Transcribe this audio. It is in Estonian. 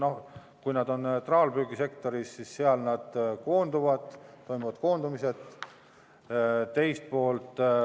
No kui nad on tegevad traalpüügisektoris, siis seal toimub koondumine.